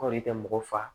Kɔrɔ tɛ mɔgɔ fa